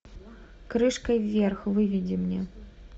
крышкой вверх выведи мне